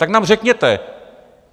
Tak nám řekněte.